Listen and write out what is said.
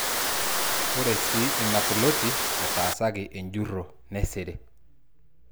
Ore sii ina ploti naa etaasaki enjurro nesiri.